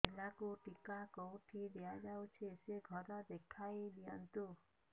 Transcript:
ପିଲାକୁ ଟିକା କେଉଁଠି ଦିଆଯାଉଛି ସେ ଘର ଦେଖାଇ ଦିଅନ୍ତୁ